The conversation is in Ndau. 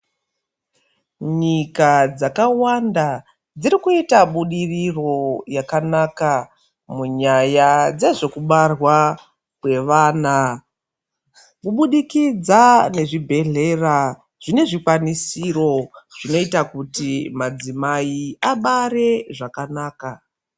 Nyika dzakawanda dziri kuita budiriro yakanaka munyaya dzezvekubarwa kwevana kubudikidza nezvibhehlera zvine zvikwanisiro zvinoita kuti madzimai abare zvakanaka.